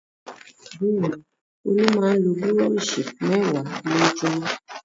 Bẹ́ẹ̀ ni, Olú máa ń lo búrọ́ṣì mẹ́wàá lójúmọ́.